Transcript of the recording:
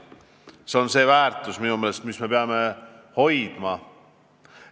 Eelkõige see on väärtus, mida me peame hoidma.